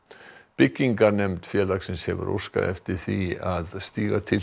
byggingarnefnd félagsins hefur óskað eftir því að stíga til